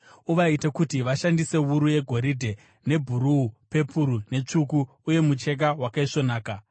Uvaite kuti vashandise wuru yegoridhe, nebhuruu, pepuru netsvuku uye mucheka wakaisvonaka.